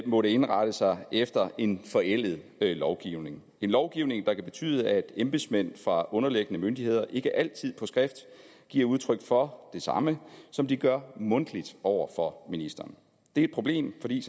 måttet indrette sig efter en forældet lovgivning en lovgivning der kan betyde at embedsmænd fra underliggende myndigheder ikke altid på skrift giver udtryk for det samme som de gør mundtligt over for ministeren det er et problem fordi